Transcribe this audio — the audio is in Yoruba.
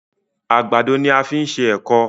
àgbàdo ní a fí ṣe ẹkọ.